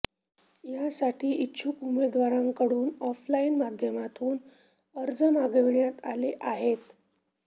यासाठी इच्छुक उमेदवारांकडून ऑफलाइन माध्यमातून अर्ज मागविण्यात आले आहेत